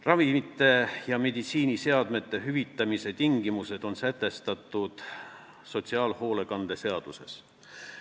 Ravimite ja meditsiiniseadmete hüvitamise tingimused on sätestatud sotsiaalhoolekande seaduses.